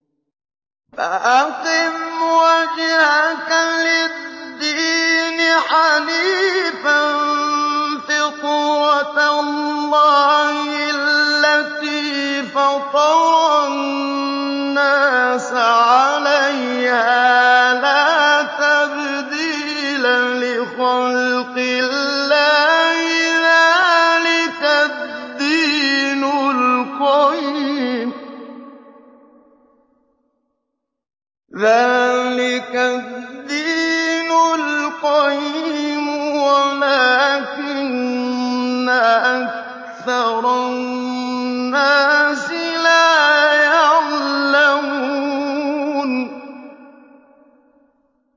فَأَقِمْ وَجْهَكَ لِلدِّينِ حَنِيفًا ۚ فِطْرَتَ اللَّهِ الَّتِي فَطَرَ النَّاسَ عَلَيْهَا ۚ لَا تَبْدِيلَ لِخَلْقِ اللَّهِ ۚ ذَٰلِكَ الدِّينُ الْقَيِّمُ وَلَٰكِنَّ أَكْثَرَ النَّاسِ لَا يَعْلَمُونَ